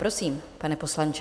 Prosím, pane poslanče.